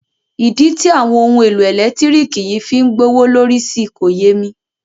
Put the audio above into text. Ìdí tí àwọn ohun èlò ẹ̀lẹ́tírìkì yìí fí ń gbówó ló lórí si kò yé mi.